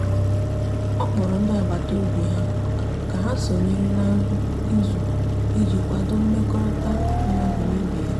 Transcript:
ọ kpọrọ ndi agbata obi ya ka ha sonyere na nri izu iji kwado mmekorita madu n'ibe ya